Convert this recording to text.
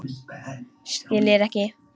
Skiljir ekki.